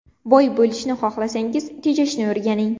Boy bo‘lishni xohlasangiz – tejashni o‘rganing.